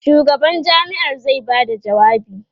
shugaban jami'ar zai Bada jawabi